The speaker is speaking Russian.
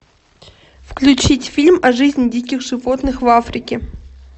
включить фильм о жизни диких животных в африке